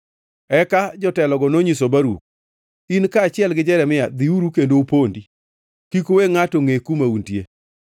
Eka jotelogo nonyiso Baruk, “In kaachiel gi Jeremia, dhiuru kendo upondi. Kik uwe ngʼato ngʼe kuma untie.”